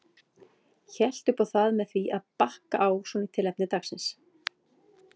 Hélt upp á það með því að bakka á svona í tilefni dagsins.